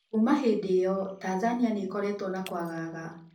Kuma hĩndĩ ĩo Tanzania nĩ ĩkoretwo na kwagaga.